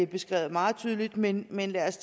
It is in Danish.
beskrevet meget tydeligt men lad os